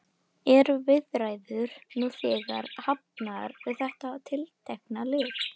Eru viðræður nú þegar hafnar við þetta tiltekna lið?